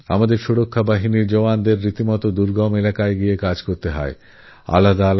আমাদের সুরক্ষা বাহিনীর জওয়ান্দের দুর্গম সব এলাকায় গিয়ে কাজ করতেহয়